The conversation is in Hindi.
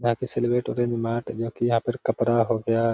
बाकि जो कि यहाँ पर कपरा हो गया।